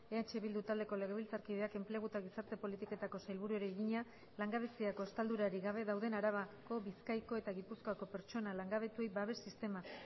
eh bildu taldeko legebiltzarkideak enplegu eta gizarte politiketako sailburuari egina langabeziako estaldurarik gabe dauden arabako bizkaiko eta gipuzkoako pertsona langabetuei babes sistema